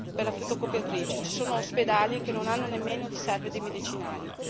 per la fotocopiatrice, ci sono ospedali che non hanno nemmeno riserve di medicinali.